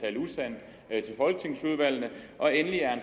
er til folketingsudvalgene og endelig er